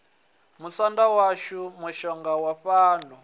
musanda washu mushonga wa falo